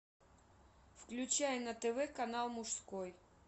включай на тв канал мужской